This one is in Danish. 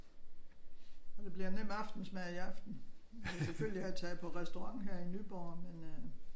Og det bliver nem aftensmad i aften. Vi kunne selvfølgelig have taget på restaurant her i Nyborg men øh